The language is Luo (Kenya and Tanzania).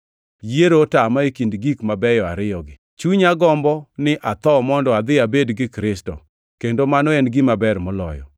Yiero otama e kind gik mabeyo ariyogi: Chunya gombo ni atho mondo adhi abed gi Kristo, kendo mano en gima ber moloyo,